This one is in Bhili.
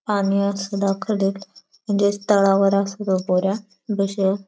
आणि अस म्हणजेच तळावर आस तो पोऱ्या बश्या.